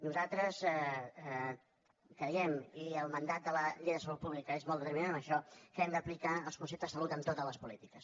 nosaltres creiem i el mandat de la llei de salut públi·ca és molt determinant en això que hem d’aplicar el concepte de salut en totes les polítiques